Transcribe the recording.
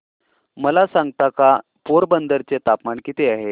मला सांगता का पोरबंदर चे तापमान किती आहे